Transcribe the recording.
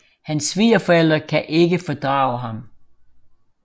Hans svigerforældre kan ikke fordrage ham